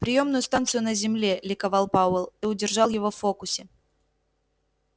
приёмную станцию на земле ликовал пауэлл ты удержал его в фокусе